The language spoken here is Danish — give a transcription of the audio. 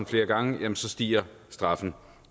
flere gange stiger straffen